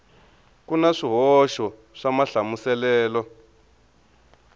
ku na swihoxo swa mahlamuselelo